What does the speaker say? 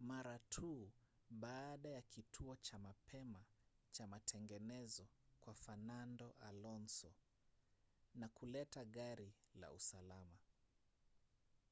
mara tu baada ya kituo cha mapema cha matengenezo kwa fernando alonso na kuleta gari la usalama